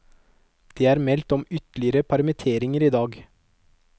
Det er meldt om ytterligere permitteringer i dag.